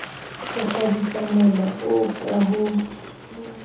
ho kgabisamola oo ka ho